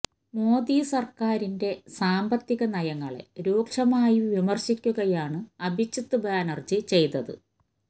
മോദി സര്ക്കാരിന്റെ സാമ്പത്തിക നയങ്ങളെ രൂക്ഷമായി വിമര്ശിക്കുകയാണ് അഭിജിത്ത് ബാനര്ജി ചെയ്തത്